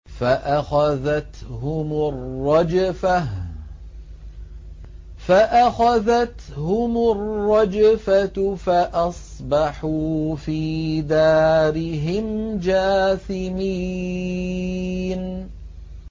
فَأَخَذَتْهُمُ الرَّجْفَةُ فَأَصْبَحُوا فِي دَارِهِمْ جَاثِمِينَ